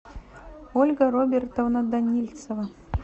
ольга робертовна данильцева